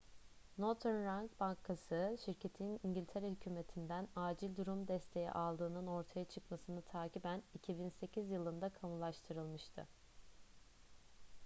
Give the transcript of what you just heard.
northern rock bankası şirketin i̇ngiltere hükümeti'nden acil durum desteği aldığının ortaya çıkmasını takiben 2008 yılında kamulaştırılmıştı